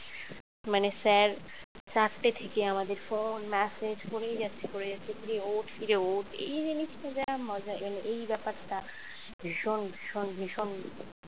মানে sir চারটে থেকে আমাদের ফোন message করেই যাচ্ছে করেই যাচ্ছে কিরে ওঠ কিরে ওঠ এই জিনিসটা যা মজা এই ব্যাপারটা ভীষণ ভীষণ ভীষণ।